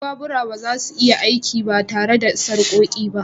Duk babura ba za su iya aiki ba tare da sarƙoƙi ba